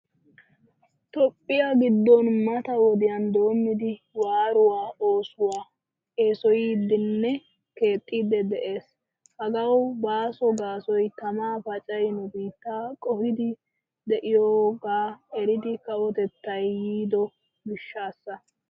Toophphiyaa giddon mata wodiyan doommidi waaruwaa oosuwaa eesoyidinne keexxidi de'ees. Hagawu baaso gaasoy tamaa paacay nu biittaa qohidi de'iyoga erida kawotettay yiido gishshasa.